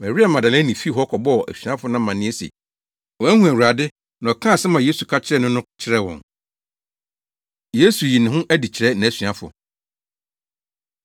Maria Magdalene fii hɔ kɔbɔɔ asuafo no amanneɛ se wahu Awurade na ɔkaa asɛm a Yesu ka kyerɛɛ no no kyerɛɛ wɔn. Yesu Yi Ne Ho Adi Kyerɛ Nʼasuafo